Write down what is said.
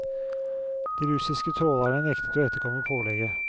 De russiske trålerne nektet å etterkomme pålegget.